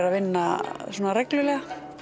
að vinna reglulega